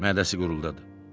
Mədəsi guruldadı.